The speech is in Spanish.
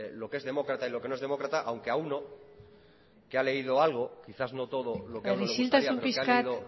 lo que es demócrata y lo que no es demócrata aunque a uno que ha leído algo quizás no todo lo que le gustaría pero